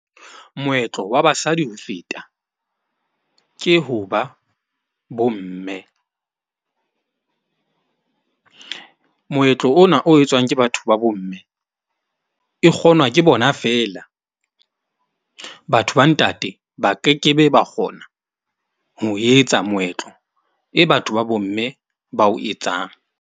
Moetlo wa basadi ho feta ke ho ba bo mme. Moetlo ona o etswang ke batho ba bomme e kgonwa ke bona feela. Batho ba ntate ba kekebe, ba kgona ho o etsa moetlo e batho ba bo mme ba o etsang.